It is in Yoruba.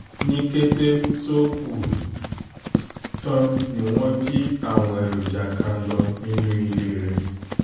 ní kété tó kù tó kù tán ni wọ́n jí àwọn èròjà kan lọ nínú ilé rẹ̀